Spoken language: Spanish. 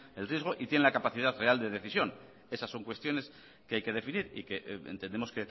el riesgo y tienen la capacidad real de decisión esas son cuestiones que hay que definir y que entendemos